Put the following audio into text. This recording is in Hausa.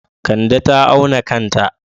Kande ta auna kanta.